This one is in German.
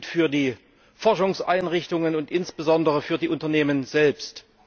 Das gilt für die Forschungseinrichtungen und insbesondere für die Unternehmen selbst.